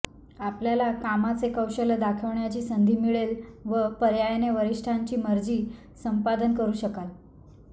आपल्याला कामाचे कौशल्य दाखविण्याची संधी मिळेल व पर्यायाने वरिष्ठांची मर्जी संपादन करू शकाल